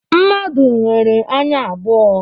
Mmadụ nwere anya abụọ.